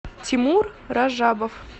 тимур ражабов